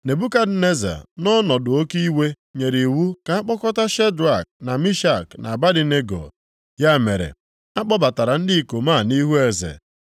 Nebukadneza nʼọnọdụ oke iwe nyere iwu ka a kpọta Shedrak, na Mishak, na Abednego. Ya mere, a kpọbatara ndị ikom a nʼihu eze,